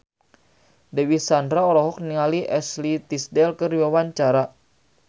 Dewi Sandra olohok ningali Ashley Tisdale keur diwawancara